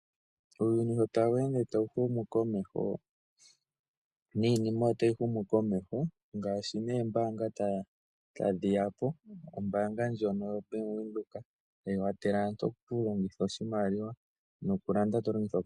Uuyuni sho tawu ende tawu humu komeho niinima otayi humu komeho ngaashi noombanga tadhi tadhiyapo. Ombanga ndyono yobank windhoek tayi kwathele aantu okulongitha oshimaliwa nokulanda tolongitha okakalata.